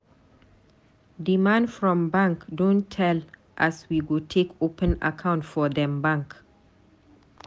Di man from bank don tell as we go take open account for dem bank.